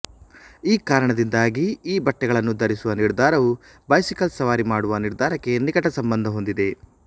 ಈ ಕಾರಣದಿಂದಾಗಿ ಈ ಬಟ್ಟೆಗಳನ್ನು ಧರಿಸುವ ನಿರ್ಧಾರವು ಬೈಸಿಕಲ್ ಸವಾರಿ ಮಾಡುವ ನಿರ್ಧಾರಕ್ಕೆ ನಿಕಟ ಸಂಬಂಧ ಹೊಂದಿದೆ